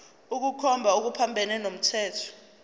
ukukhomba okuphambene nomthetho